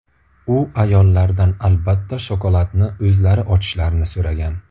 U ayollardan albatta shokoladni o‘zlari ochishlarini so‘ragan.